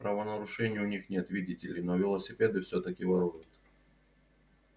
правонарушений у них нет видите ли но велосипеды всё-таки воруют